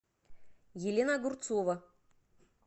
елена огурцова